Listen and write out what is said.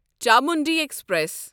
Chamundi express